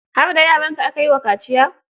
Har da yaranka aka yi wa kaciyar?